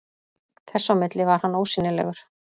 Þess á milli var hann ósýnilegur.